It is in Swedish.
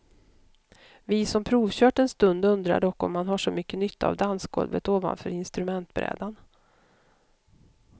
Vi som provkört en stund undrar dock om man har så mycket nytta av dansgolvet ovanför instrumentbrädan.